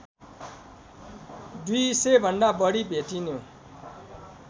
दुई सयभन्दा बढी भेटिनु